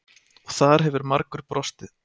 Og þar hefur margur brostið.